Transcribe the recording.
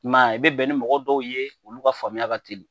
I m'a ye, i bɛ bɛn ni mɔgɔ dɔw ye olu ka faamuya ka teli.